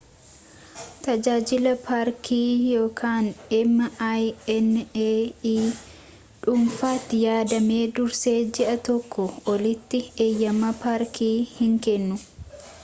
tajaajilli paarkii minae dhufaatii yaadame dursee ji’a tokkoo olitti eeyyema paarkii hin kennu